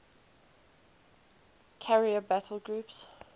carrier battle groups